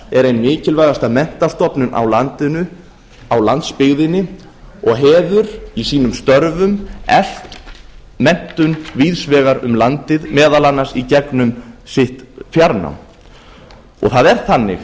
er ein mikilvægasta menntastofnun á landinu á landsbyggðinni og hefur í sínum störfum eflt menntun víðs vegar um landið meðal annars í gegnum sitt fjarnám það er þannig